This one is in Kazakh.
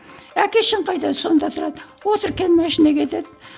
әке шешең қайда сонда тұрады отыр кел машинаға деді